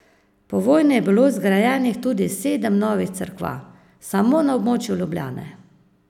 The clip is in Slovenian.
Po vojni je bilo zgrajenih tudi sedem novih cerkva, samo na območju Ljubljane.